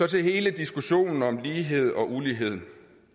til hele diskussionen om lighed og ulighed